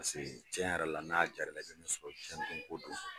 tiɲɛ yɛrɛ la n'a diyara i la , i bɛ min sɔrɔ diɲɛ don ko don.